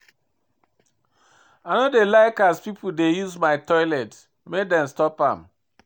I no dey like as pipo dey use my toilet, make dem stop am.